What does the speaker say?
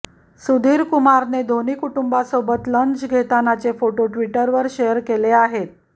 सुधीरकुमारने धोनी कुटुंबासोबत लंच घेतानाचे फोटो ट्विटरवर शेअर केले आहेत